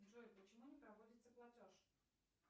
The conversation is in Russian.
джой почему не проводится платеж